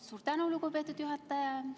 Suur tänu, lugupeetud juhataja!